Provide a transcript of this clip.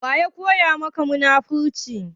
Waya koya maka munafurci?